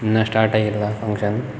ಇನ್ನ ಸ್ಟಾರ್ಟ ಆಗಿಲ್ಲ ಫಂಕ್ಷನ್ .